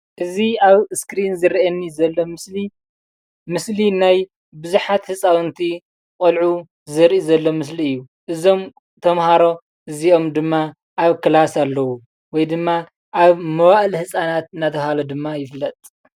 እዚ አብ እስክሪን ዝረእየኒ ዘሎ ምስሊ ምስሊ ናይ ቡዛሓት ህፃውንቲ ቆልዑ ዘርኢ ዘሎ ምስሊ እዩ፡፡ እዞም ተመሃሮ እዚኣም ድማ አብ ክላስ አለው ወይ ድማ አብ መዋእለ ህፃናት እናተባህለ ድማ ይፍለጥ፡፡